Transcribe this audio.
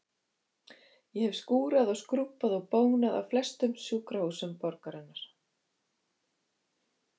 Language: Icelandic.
Ég hef skúrað og skrúbbað og bónað á flestum sjúkrahúsum borgarinnar.